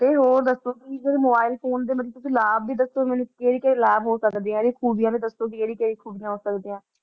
ਕੋਈ ਹੋਰ ਦੱਸੋ ਕੋਈ ਏਦਾਂ ਦੇ mobile phone ਦੇ ਮਤਲਬ ਤੁਸੀਂ ਲਾਭ ਵੀ ਦੱਸੋ ਮੈਨੂੰ ਕਿਹੜੇ ਕਿਹੜੇ ਲਾਭ ਹੋ ਸਕਦੇ ਆ, ਇਹਦੀਆਂ ਖੂਬੀਆਂ ਵੀ ਦੱਸੋ ਵੀ ਕਿਹੜੀ ਕਿਹੜੀ ਖੂਬੀਆਂ ਹੋ ਸਕਦੀਆਂ ਹੈ।